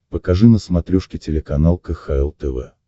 покажи на смотрешке телеканал кхл тв